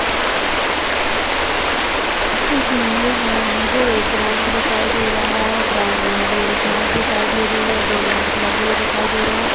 इस इमेज में मुझे एक ग्राउन्ड दिखाई दे रहा है ग्राउन्ड मे हरी हरी घास दिखाई दे रही है दो लैम्प लगे हुए दिखाई दे रहे हैं।